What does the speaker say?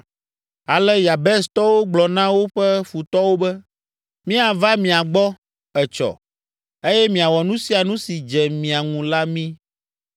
Ale Yabestɔwo gblɔ na woƒe futɔwo be, “Míava mia gbɔ etsɔ eye miawɔ nu sia nu si dze mia ŋu la mí.”